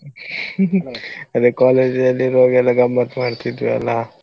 ಅದೇ college ಅಲ್ಲಿರುವಾಗಯೆಲ್ಲ ಗಮ್ಮತ್ ಮಾಡ್ತಿದ್ವಿಯಲ್ಲಾ.